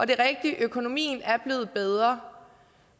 det er rigtigt at økonomien er blevet bedre